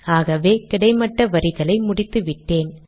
ஆகவே கிடைமட்ட வரிகளை முடித்துவிட்டேன்